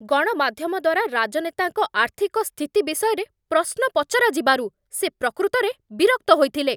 ଗଣମାଧ୍ୟମ ଦ୍ୱାରା ରାଜନେତାଙ୍କ ଆର୍ଥିକ ସ୍ଥିତି ବିଷୟରେ ପ୍ରଶ୍ନ ପଚରା ଯିବାରୁ ସେ ପ୍ରକୃତରେ ବିରକ୍ତ ହୋଇଥିଲେ।